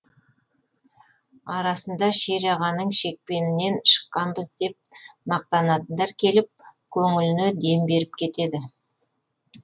арасында шер ағаның шекпенінен шыққанбыз деп мақтанатындар келіп көңіліне дем беріп кетеді